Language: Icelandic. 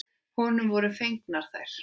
Honum voru fengnar þær.